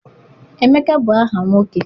Emeka bụ aha nwoke.